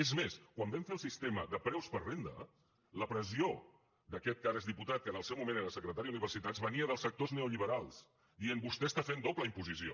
és més quan vam fer el sistema de preus per renda la pressió d’aquest que ara és diputat que en el seu moment era secretari d’universitats venia dels sector neoliberals dient vostè està fent doble imposició